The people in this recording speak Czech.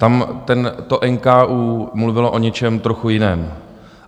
Tam to NKÚ mluvilo o něčem trochu jiném.